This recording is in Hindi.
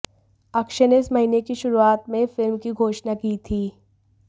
अक्षय ने इस महीने की शुरुआत में फिल्म की घोषणा की थी